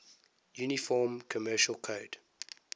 uniform commercial code